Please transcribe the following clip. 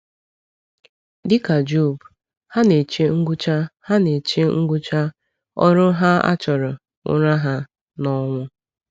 “Dịka Job, ha na-eche ngwụcha ha na-eche ngwụcha ‘ọrụ ha a chọrọ,’ ụra ha n’ọnwụ.”